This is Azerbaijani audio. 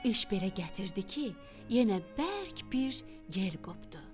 İş belə gətirdi ki, yenə bərk bir yel qopdu.